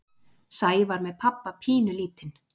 Sævar með pabba pínulítinn.